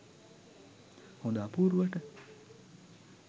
හොඳ අපූරුවට?